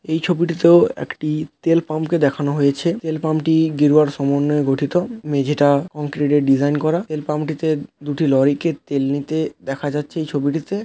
এই ছবিটিতেও একটি তেল পাম্পকে দেখানো হয়েছে। তেল পাম্পটি গেরুয়ার সমন্বয়ে গঠিত। মেঝেটা কনক্রিট -এর ডিজাইন করা । তেল পাম্পটিতে দুটি লরিকে তেল নিতে দেখা যাচ্ছে ছবিটিতে--